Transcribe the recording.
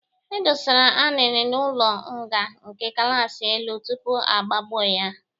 E dosara Anini n'ụlọ nga nke kachasị elu tupu agbagbo ya.